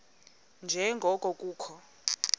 nje ngoko kukho